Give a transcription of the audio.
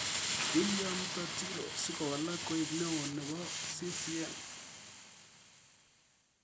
Kilya Mtatiro sikowalak koek neo nepoo CCM